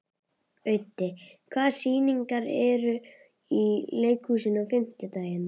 Auddi, hvaða sýningar eru í leikhúsinu á fimmtudaginn?